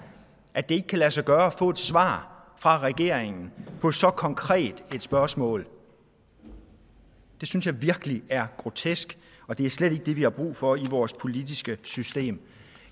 at det ikke kan lade sig gøre at få et svar fra regeringen på så konkret et spørgsmål det synes jeg virkelig er grotesk og det er slet ikke det vi har brug for i vores politiske system